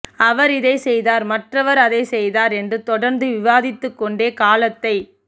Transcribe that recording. அவர் இதைச் செய்தார் மற்றவர் அதைச் செய்தார் என்று தொடர்ந்து விவாதித்துக்கொண்டே காலத்தைப்